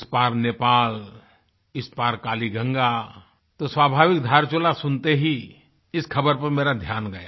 उस पार नेपाल इस पार कालीगंगा तो स्वाभाविक धारचूला सुनते ही इस खबर पर मेरा ध्यान गया